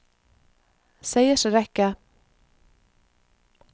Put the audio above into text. seiersrekke